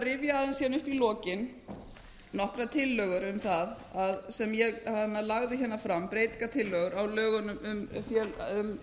rifja aðeins upp hérna í lokin nokkrar tillögur um það sem ég lagði hérna fram breytingartillögur á lögunum um